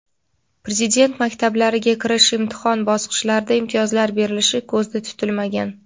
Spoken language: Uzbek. Prezident maktablariga kirish imtihon bosqichlarida imtiyozlar berilishi ko‘zda tutilmagan.